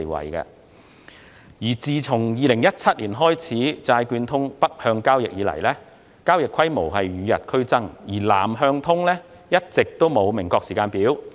自"債券通"北向交易於2017年開通以來，交易規模與日俱增，而"南向通"則一直沒有明確時間表。